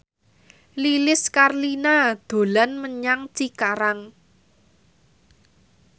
Lilis Karlina dolan menyang Cikarang